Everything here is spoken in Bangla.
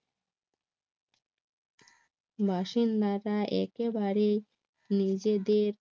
বাসিন্দা একেবারেই নিজেদের